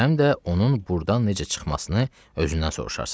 Və həm də onun burdan necə çıxmasını özündən soruşarsan.